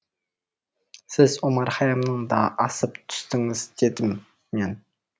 сіз омар хәйямнан да асып түстіңіз дедім мен